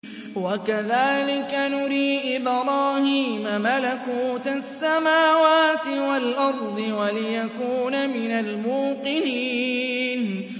وَكَذَٰلِكَ نُرِي إِبْرَاهِيمَ مَلَكُوتَ السَّمَاوَاتِ وَالْأَرْضِ وَلِيَكُونَ مِنَ الْمُوقِنِينَ